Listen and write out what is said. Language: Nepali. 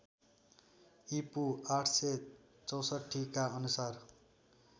ईपू ८६४ का अनुसार